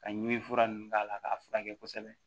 Ka ɲimini fura nunnu k'a la k'a furakɛ kosɛbɛ